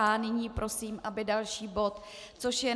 A nyní prosím, aby další bod, což je